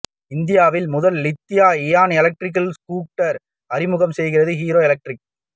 இந்தியாவின் முதல் lithium ion electric scooter அறிமுகம் செய்கிறது ஹீரோ எலக்ட்ரிக்